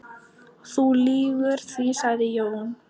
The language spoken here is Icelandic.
Þú lýgur því, sagði Jón.